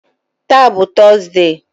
Taa bụ Tọzdee